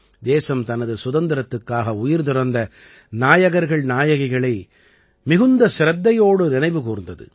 தேசம் தனது சுதந்திரத்திற்காக உயிர்துறந்த நாயகர்கள் நாயகிகளை மிகுந்த சிரத்தையோடு நினைவு கூர்ந்தது